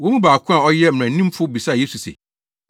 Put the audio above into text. Wɔn mu baako a ɔyɛ mmaranimfo bisaa Yesu se,